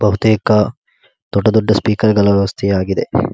ಬಹುತೇಕ ದೊಡ್ಡ ದೊಡ್ಡ ಸ್ಪೀಕರ್ ಗಳ ವ್ಯವಸ್ಥೆ ಆಗಿದೆ.